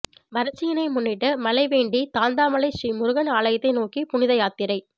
வரட்சியினை முன்னிட்டு மழை வேண்டி தாந்தாமலை ஸ்ரீ முருகன் ஆலயத்தை நோக்கி புனித யாத்திரை